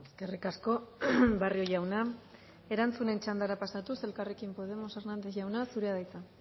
eskerrik asko barrio jauna erantzunen txandara pasatuz elkarrekin podemos hernández jauna zurea da hitza